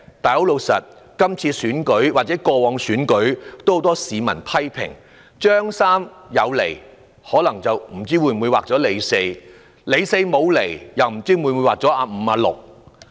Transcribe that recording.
但今次或過往選舉中，也有很多市民批評，"張三"有出現，卻劃了"李四"；"李四"沒出現，卻劃了"阿五"或"阿六"。